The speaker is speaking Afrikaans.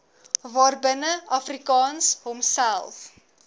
waarbinne afrikaans homself